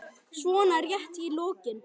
svona rétt í lokin.